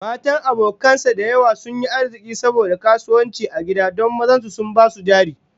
Matan abokan sa da yawa sun yi arziki saboda kasuwanci a gida don mazan su sun ba su jari